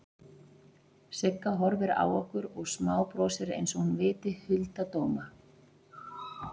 Sigga horfir á okkur og smábrosir einsog hún viti hulda dóma.